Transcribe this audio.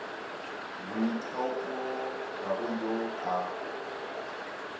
boithaopo ga go yo a